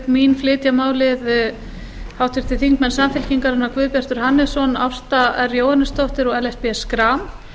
mín flytja málið háttvirtur þingmaður samfylkingarinnar guðbjartur hannesson ásta r jóhannesdóttir og ellert b schram